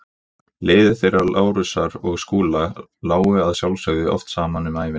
Leiðir þeirra Lárusar og Skúla lágu að sjálfsögðu oft saman um ævina.